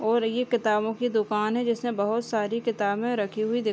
और ये किताबों की दुकान है जिसमें बोहोत सारी किताबे रखी हुई दिख --